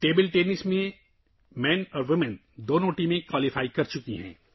مرد اور خواتین دونوں ٹیمیں، ٹیبل ٹینس میں کوالیفائی کر چکی ہیں